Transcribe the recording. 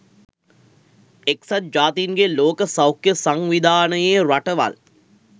එක්සත් ජාතීන්ගේ ලෝක සෞඛ්‍ය සංවිධානයේ රටවල්